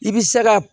I bɛ se ka